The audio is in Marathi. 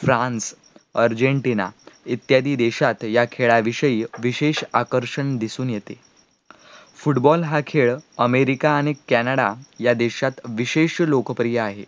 फ्रान्स, अर्जेन्टिना इत्यादी देशात या खेळाविषयी विशेष आकर्षण दिसून येते, Football हा खेळ अमेरिका आणि कॅनडा या देशात विशेष लोकप्रिय आहे,